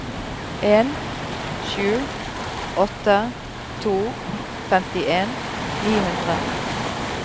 en sju åtte to femtien ni hundre